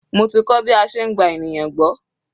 Mo ti kọ́ bí a ṣe ń gba ènìyàn gbọ́.